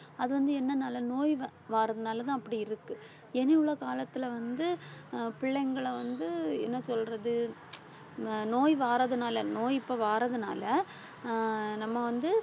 அது வந்து என்னனால நோய் வ~ வாறதுனாலதான் அப்படியிருக்கு இனி உள்ள காலத்துல வந்து அஹ் பிள்ளைங்களை வந்து என்ன சொல்றது அஹ் நோய் வாறதுனால நோய் இப்ப வாறதுனால அஹ் நம்ம வந்து